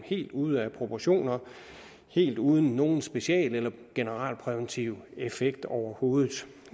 helt ude af proportioner helt uden nogen special eller generalpræventiv effekt overhovedet